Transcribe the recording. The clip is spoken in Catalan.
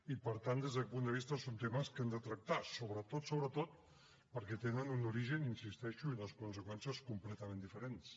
i per tant des d’aquest punt de vista són temes que hem de tractar sobretot sobretot perquè tenen un origen hi insisteixo i unes conseqüències completament diferents